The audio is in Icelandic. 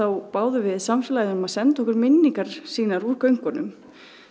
báðum við samfélagið um að senda okkur minningar sínar úr göngunum